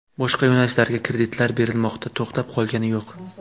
Boshqa yo‘nalishlarga kreditlar berilmoqda, to‘xtab qolgani yo‘q.